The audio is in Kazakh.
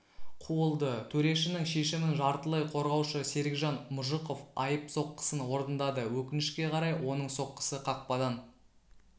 қуылды төрешінің шешімін жартылай қорғаушы серікжан мұжықов айып соққысын орындады өкінішке қарай оның соққысы қақпадан